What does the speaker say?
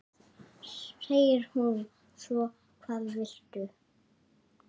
segir hún svo: Hvað viltu?